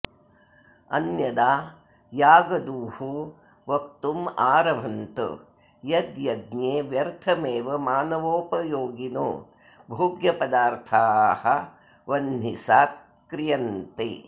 अन्यदा यागदूहो वक्तुमारभन्त यद् यज्ञे व्यर्थमेव मानवोपयोगिनो भोग्यपदार्थाः वह्निसात् क्रियन्ते